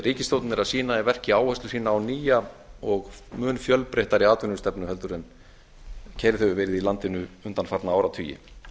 ríkisstjórnin er að sýna í verki áherslu sína á nýja og mun fjölbreyttari atvinnustefnu heldur en keyrð hefur verið í landinu undanfarna áratugi